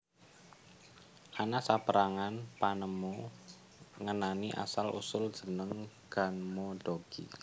Ana saperangan panemu ngenani asal usul jeneng ganmodoki